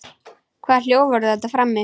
Hvaða hljóð voru þetta frammi?